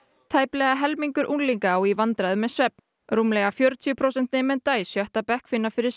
tæplega helmingur unglinga á í vandræðum með svefn rúmlega fjörutíu prósent nemenda í sjötta bekk finna fyrir